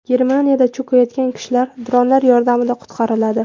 Germaniyada cho‘kayotgan kishilar dronlar yordamida qutqariladi.